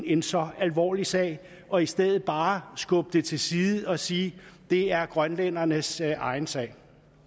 en så alvorlig sag og i stedet bare skubbe det til side og sige det er grønlændernes egen sag